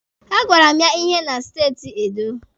A gwara m ya ihe na steeti Edo.